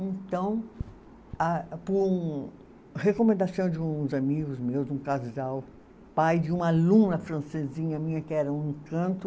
Então a, por recomendação de uns amigos meus, um casal, pai de uma aluna francesinha minha, que era um encanto,